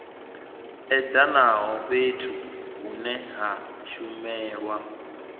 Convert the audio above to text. edanaho fhethu hune ha shumelwa